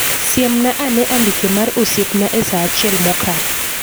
siemna ane andike mar osieipna esaa achiel mokalo